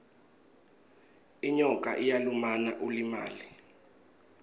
inyoka iyalumana ulimale